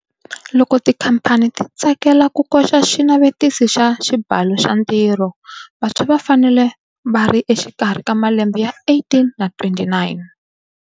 Loko tikhamphani ti tsakela ku koxa Xinavetisi xa Xibalo xa Ntirho, vantshwa va fanele va ri exikarhi ka malembe ya 18 na 29.